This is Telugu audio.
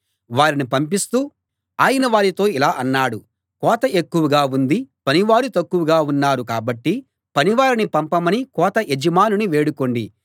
వారిని పంపిస్తూ ఆయన వారితో ఇలా అన్నాడు కోత ఎక్కువగా ఉంది పనివారు తక్కువగా ఉన్నారు కాబట్టి పనివారిని పంపమని కోత యజమానిని వేడుకోండి